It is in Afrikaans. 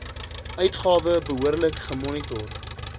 uitgawe behoorlik gemonitor